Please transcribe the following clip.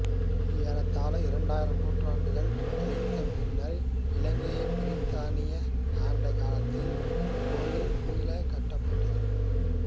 ஏறத்தாழ இரண்டரை நூற்றாண்டுகள் கழிந்த பின்னர் இலங்கையைப் பிரித்தானியர் ஆண்ட காலத்தில் இக் கோயில் மீளக் கட்டப்பட்டது